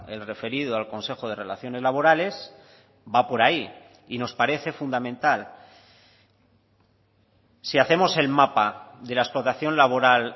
el referido al consejo de relaciones laborales va por ahí y nos parece fundamental si hacemos el mapa de la explotación laboral